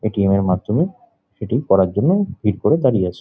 ATM -এর মাধ্যমে এটি করার জন্য ভিড় করে দাঁড়িয়ে আছে ।